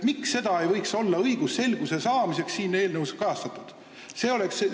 Miks see ei võiks õigusselguse huvides siin eelnõus kajastatud olla?